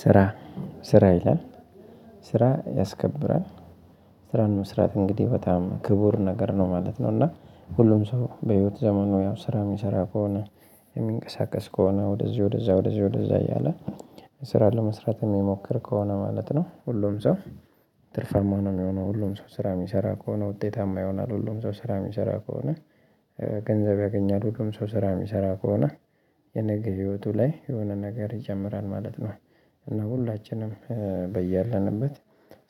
ስራ ስራ ይላል ስራ ያስከብራል። ስራን መስራት እንግዲህ በጣም ክቡር ነገር ነው ማለት ነው እና ሁሉም ሰው በህይወት ዘመኑ ያው ስራ ሚሰራ ከሆነ ሚንቀሳቀስ ከሆነ ወደዚህ ወደዛ ወደዚህ ወደዛ እያለ ስራ ለመስራት የሚሞክር ከሆነ ማለት ነው ሁሉም ሰው ትርፋማ ነው ሚሆነው ሁሉም ሰው ስራ ሚሰራ ከሆነ ውጤታማ ይሆናል። ሁሉም ሰው ስራ ሚሰራ ከሆነ ገንዘብ ያገኛል። ሁሉም ሰው ስራ ሚሰራ ከሆነ የነገ ህይወቱ ላይ የሆነ ነገር ይጨምራል ማለት ነው። እና ሁላችንም በያለንበት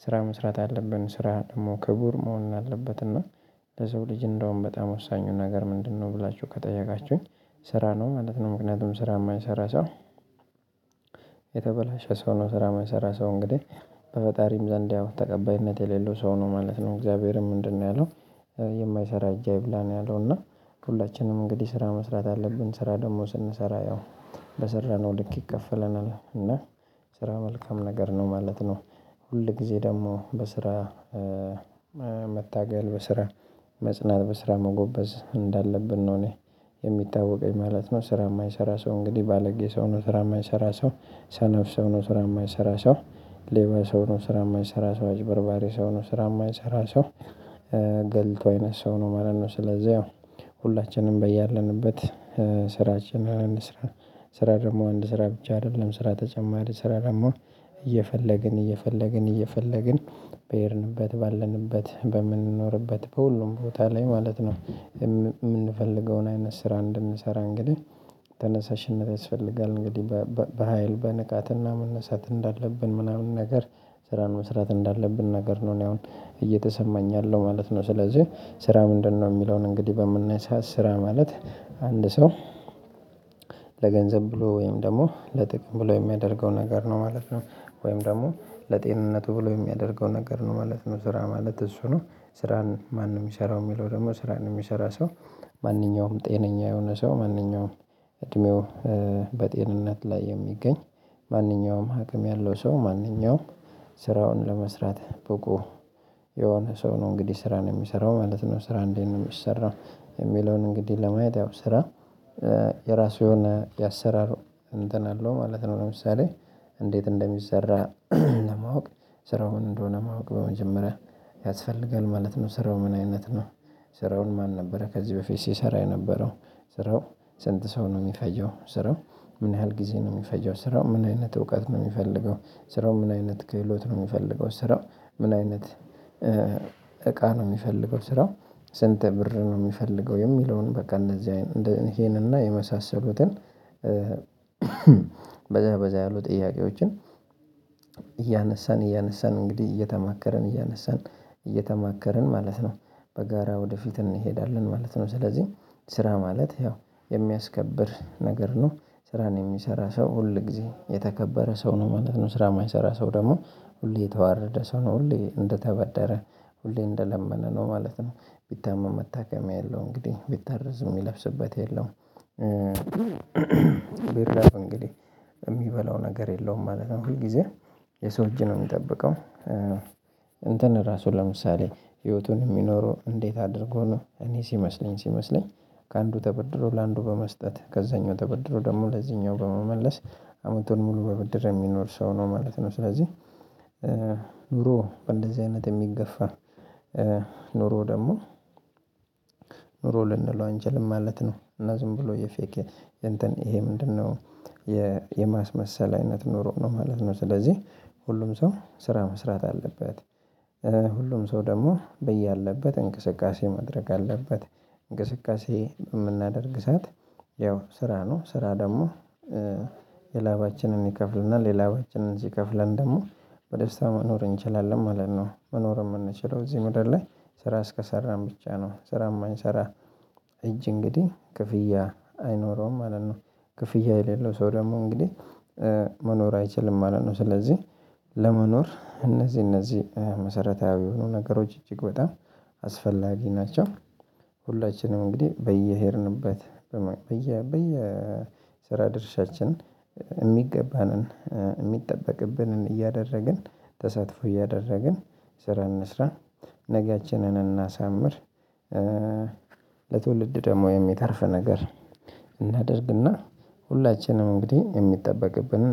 ስራ መስራት አለብን ስራ ደግሞ ክቡር መሆን አለበት እና ለሰው ልጅ እንደውም በጣም ወሳኙ ነገር ምንድነው ብላችሁ ከጠየቃችሁኝ ስራ ነው ማለት ነው። ምክንያቱም ስራ ማይሰራ ሰው የተበላሸ ሰው ነው ስራ ማይሰራ ሰው እንግዲህ በፈጣሪም ዘንድ ያው ተቀባይነት የሌለው ሰው ነው ማለት ነው። እግዚአብሔርም ምንድነው ያለው የማይሰራ እጅ አይብላ ነው ያለው እና ሁላችንም እንግዲህ ስራ መስራት አለብን። ስራ ደግሞ ስንሰራ ያው በሰራነው ልክ ይከፈለናል እና ስራ መልካም ነገር ነው ማለት ነው ሁል ጊዜ ደግሞ በስራ መታገል፣ በስራ መጽናት፣ በስራ መጎበዝ እንዳለብን ነው የሚታወቀኝ ማለት ነው። ስራ ማይሰራ ሰው እንግዲህ ባለጌ ሰው ነው፣ ስራ ማይሰራ ሰው ሰነፍ ሰው ነው፣ ስራ የማይሰራ ሰው ሌባ ሰው ነው፣ ስራ የማይሰራ ሰው አጭበርባሪ ሰው ነው፣ ስራ የማይሰራ ሰው ገልቱ አይነት ሰው ነው ማለት ነው ስለዚህ ያው ሁላችንም በያለንበት ስራችንን እንስራ። ስራ ደግሞ አንድ ስራ ብቻ አይደለም ስራ ተጨማሪ ስራ ደግሞ እየፈለግን፣ እየፈለግን፣ እየፈለግን በሄድንበት ባለንበት በምንኖርበት በሁሉም ቦታ ላይ ማለት ነው ምንፈልገውን አይነት ስራ እንድንሰራ እንግዲህ ተነሳሽነት ያስፈልጋል እንግዲህ በሃይል በንቃትና መነሳት እንዳለብን ምናምን ነገር ስራን መስራት እንዳለብን ነገር ነው እኔ አሁን እየተሰማኝ ያለው ማለት ነው። ስለዚህ ስራ ምንድነው ሚለውን እንግዲህ በምናይ ሰዓት ስራ ማለት አንድ ሰው ለገንዘብ ብሎ ወይም ደግሞ ለጥቅም ብሎ የሚያደርገው ነገር ነው ማለት ነው። ወይም ደግሞ ለጤንነቱ ብሎ የሚያደርገው ነገር ነው ማለት ነው፤ ስራ ማለት እሱ ነው። ስራን ማንም ሚሰራው ሚለው ደግሞ ስራን ሚሰራ ሰው ማንኛውም ጤነኛ የሆነ ሰው ማንኛውም እድሜው በጤንነት ላይ የሚገኝ ማንኛውም አቅም ያለው ሰው ማንኛውም ስራውን ለመስራት በቁ የሆነ ሰው ነው እንግዲህ ስራን ሚሰራው ማለት ነው። ስራ እንዴት ነው ሚሰራው? የሚለውን እንግዲህ ለማየት ያው ስራ የራሱ የሆነ የአሰራር እንትን አለው ማለት ነው ለምሳሌ እንዴት እንደሚሰራ ለማወቅ ስራው ምን እንደሆነ ማወቅ በመጀመሪያ ያስፈልጋል ማለት ነው። ስራው ምን አይነት ነው? ስራውን ማን ነበረ ከዚህ በፊት ሲሰራ የነበረው? ስራው ስንት ሰው ነው ሚፈጀው? ስራው ምን ያህል ጊዜ ነው ሚፈጀው? ስራው ምን አይነት እውቀት ነው ሚፈልገው? ስራው ምን አይነት ክህሎት ነው ሚፈልገው? ስራው ምን አይነት እቃ ነው ሚፈልገው? ስራው ስንት ብር ነው የሚፈልገው? የሚለውን በቃ እነዚህ አይነት ይሄንን እና የመሳሰሉትን በዛ በዛ ያሉ ጥያቄዎችን እያነሳን እያነሳን እንግዲህ እየተማከርን እያነሳን እየተማከርን ማለት ነው በጋራ ወደፊት እንሄዳለን ማለት ነው። ስለዚህ ስራ ማለት ያው የሚያስከብር ነገር ነ። ስራን የሚሰራ ሰው ሁል ጊዜ የተከበረ ሰው ነው ማለት ነው ስራ የማይሰራ ሰው ደግሞ ሁሌ የተዋረደ ሰው ነው። ሁሌ እንደተበደረ ሁሌ እንደለመነ ነው ማለት ነው። ቢታመም መታከም ያለው፤ እንግዲህ ቢታረዝ የሚለብስበት የለውም፤ ቢራብ እንግዲህ ሚበላው ነገር የለውም ማለት ነው። ሁል ጊዜ የሰው እጅ ነው የሚጠብቀው እንትን ራሱን ለምሳሌ ህይወቱን የሚኖረው እንዴት አድርጎ ነው እኔ ሲመስለኝ ሲመስለኝ ከአንዱ ተበድሮ ለአንዱ በመስጠት ከዛኛው ተበድሮ ደግሞ ለዚህኛው በመመለስ አመቱን ሙሉ በብድር የሚኖር ሰው ነው ማለት ነው ስለዚህ ኑሮ በእንደዚህ አይነት የሚገፋ ኑሮ ደግሞ ኑሮ ልንለው አንችልም ማለት ነው እና ዝም ብሎ የፌክ እንትን ይሄ ምንድነው የማስመሰል አይነት ኑሮ ነው ማለት ነው ስለዚህ ሁሉም ሰው ስራ መስራት አለበት። ሁሉም ሰው ደግሞ በያለበት እንቅስቃሴ ማድረግ አለበት እንቅስቃሴ በምናደርግ ሰዓት ያው ስራ ነው ስራ ደግሞ የላባችንን ይከፍልናል የላባችንን ሲከፍለን ደግሞ በደስታ መኖር እንችላለን ማለት ነው መኖር የምንችለው እዚህ መድረክ ላይ ስራ እስከሰራን ብቻ ነው። ስራ የማንሰራ እጅ እንግዲህ ክፍያ አይኖረውም ማለት ነ። ክፍያ የሌለው ሰው ደግሞ እንግዲህ መኖር አይችልም ማለት ነው ስለዚህ ለመኖር እነዚህ እነዚህ መሰረታዊ የሆኑ ነገሮች እጅግ በጣም አስፈላጊ ናቸው። ሁላችንም እንግዲህ በየሄድንበት በየ ስራ ድርሻችን የሚገባንን የሚጠበቅብንን እያደረግን ተሳትፎ እያደረግን ስራ እንስራ። ነገያችንን እናሳምር ለትውልድ ደግሞ የሚተርፍ ነገር እናድርግ እና ሁላችንም እንግዲህ የሚጠበቅብንን